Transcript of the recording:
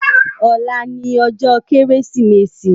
Òlá ni òjò Kérésimési